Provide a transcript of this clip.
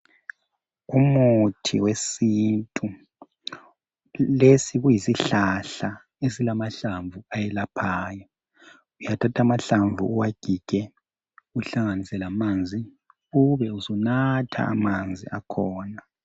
Umuthi wesintu lesi kuyisihlahla esilamahlamvu ayelaphayo uyathatha amahlamvu uwagige uhlanganise lamanzi ube usunatha amanzi akhona.